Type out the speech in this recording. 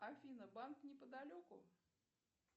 афина банк неподалеку